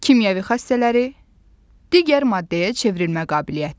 Kimyəvi xassələri: digər maddəyə çevrilmə qabiliyyəti.